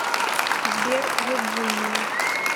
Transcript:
сбер вирджиния